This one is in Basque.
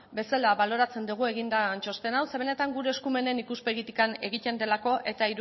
bezala baloratzen dugu egin den txosten hau ze benetan gure eskumenen ikuspegitik egiten delako eta